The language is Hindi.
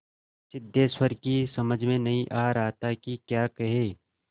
सिद्धेश्वर की समझ में नहीं आ रहा था कि क्या कहे